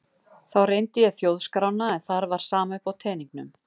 Þá reyndi ég þjóðskrána en þar var sama uppi á teningnum.